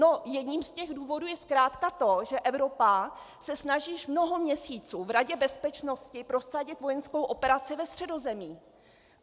No jedním z těch důvodů je zkrátka to, že Evropa se snaží již mnoho měsíců v Radě bezpečnosti prosadit vojenskou operaci ve Středozemí.